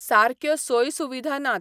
सारक्यो सोय सुविधा नात.